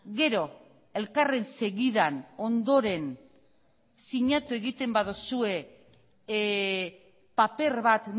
gero elkarren segidan ondoren sinatu egiten baduzue paper bat